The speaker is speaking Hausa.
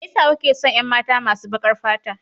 Me yasa kuke son 'yan mata masu bakar fata?